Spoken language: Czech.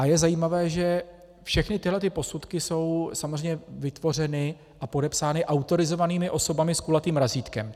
A je zajímavé, že všechny tyhle posudky jsou samozřejmě vytvořeny a podepsány autorizovanými osobami s kulatým razítkem.